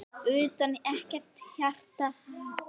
Utanum ekkert hjarta.